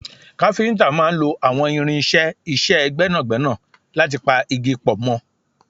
Káfíntà máà ń lo àwọn irinṣẹ́ iṣẹ́ gbẹ́nàgbẹ́nà láti pa igi pọ̀ mọ́